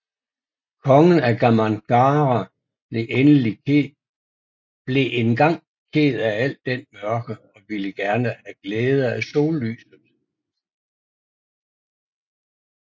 Kongen af Gamangnara blev engang ked af al den mørke og ville gerne have glæde af sollyset